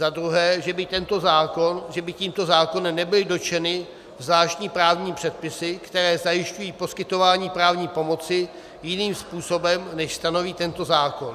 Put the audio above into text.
Za druhé, že by tímto zákonem nebyly dotčeny zvláštní právní předpisy, které zajišťují poskytování právní pomoci jiným způsobem, než stanoví tento zákon.